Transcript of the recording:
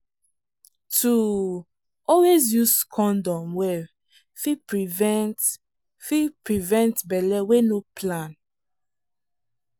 to um always use condom well fit prevent fit prevent belle wey no plan.